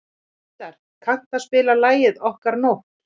Tindar, kanntu að spila lagið „Okkar nótt“?